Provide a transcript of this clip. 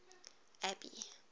abby